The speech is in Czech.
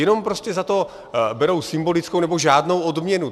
Jenom prostě za to berou symbolickou nebo žádnou odměnu.